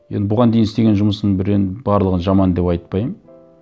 енді бұған дейін істеген жұмысым бір енді барлығын жаман деп айтпаймын